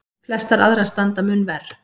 Flestar aðrar standa mun verr.